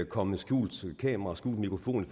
komme med skjult kamera og skjult mikrofon